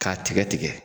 K'a tigɛ tigɛ